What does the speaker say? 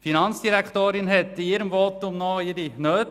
Die Finanzdirektorin schwenkte in ihrem Votum noch ihre Zehnernoten.